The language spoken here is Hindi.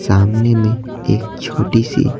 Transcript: सामने में एक छोटी सी --